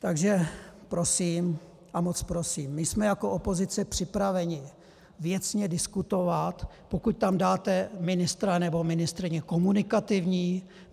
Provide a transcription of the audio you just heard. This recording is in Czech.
Takže prosím a moc prosím: my jsme jako opozice připraveni věcně diskutovat, pokud tam dáte ministra nebo ministryni komunikativní.